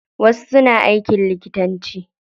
Wasu suna aikin likitanci.